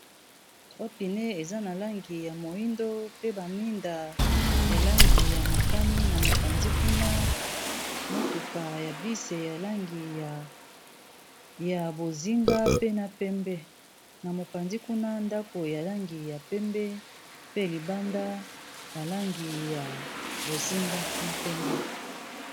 trois pneus eza na langi ya moyindo pe ba mwinda ya langi ya motani na mopanzi kuna motuka ya bus ya langi ya bozinga pe na pembe na mopanzi kuna ndako ya langi ya pembe pe libanda balangi ya bozinga na pembe